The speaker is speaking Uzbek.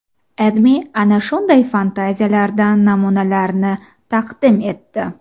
AdMe ana shunday fantaziyalardan namunalarni taqdim etdi .